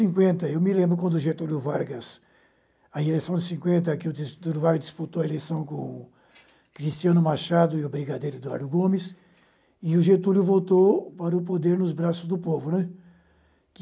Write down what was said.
cinquenta. Eu me lembro quando Getúlio Vargas, na eleição de cinquenta, que o Getúlio Vargas disputou a eleição com o Cristiano Machado e o Brigadeiro Eduardo Gomes, e o Getúlio voltou para o poder nos braços do povo, né.